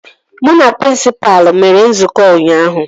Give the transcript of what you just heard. Mụ na prịnsịpa mere nzukọ ụnyaahụ